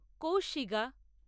কৌশিগা